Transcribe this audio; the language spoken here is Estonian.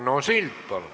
Arno Sild, palun!